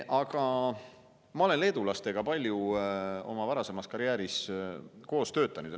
Aga ma olen leedulastega oma varasemas karjääris palju koos töötanud.